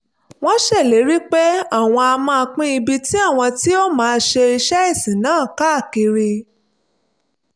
wọ́n ṣèlérí pé àwọn á máa pín ibi tí àwọn ti máa ṣe iṣẹ́ ìsìn náà káàkiri